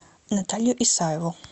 наталью исаеву